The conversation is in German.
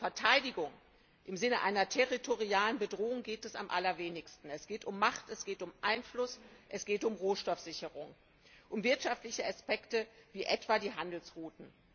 Denn um Verteidigung im Sinne einer territorialen Bedrohung geht es am allerwenigsten. Es geht um Macht, es geht um Einfluss, es geht um Rohstoffsicherung, um wirtschaftliche Aspekte wie etwa die Handelsrouten.